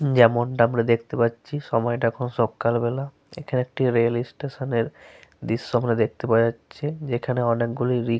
যেমনটা আমরা দেখতে পাচ্ছি সময়টা এখন সকালবেলা। এখানে একটি রেল স্টেশন এর দৃশ্য আমরা দেখতে পাওয়া যাচ্ছে যেখানে অনেকগুলি রিক --